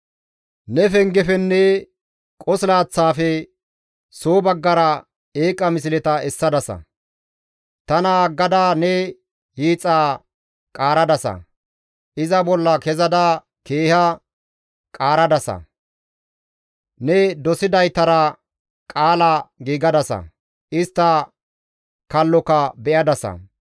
Ne pengefenne qosilaththaafe soo baggara eeqa misleta essadasa. Tana aggada ne hiixaa qaaradasa; iza bolla kezada keeha qaaradasa; ne dosidaytara qaala giigadasa; istta kalloka be7adasa.